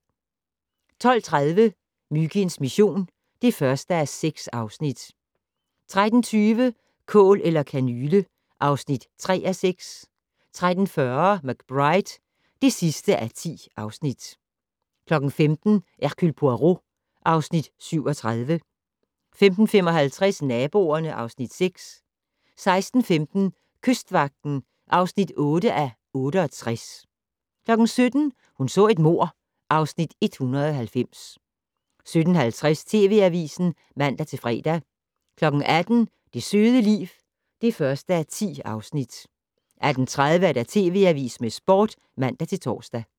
12:30: Myginds mission (1:6) 13:20: Kål eller kanyle (3:6) 13:40: McBride (10:10) 15:00: Hercule Poirot (Afs. 37) 15:55: Naboerne (Afs. 6) 16:15: Kystvagten (8:68) 17:00: Hun så et mord (Afs. 190) 17:50: TV Avisen (man-fre) 18:00: Det søde liv (1:10) 18:30: TV Avisen med Sporten (man-tor)